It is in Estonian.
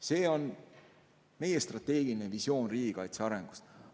" See on meie strateegiline visioon riigikaitse arengust.